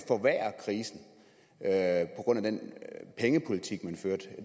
at grund af den pengepolitik man førte det